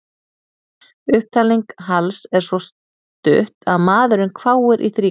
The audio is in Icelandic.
Upptalning Halls er svo stutt að maðurinn hváir í þrígang.